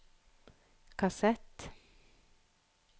kassett